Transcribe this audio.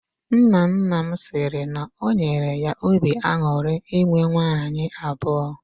Nna nna m siri na o nyere ya obi aṅụrị inwe nwaanyị abụọ.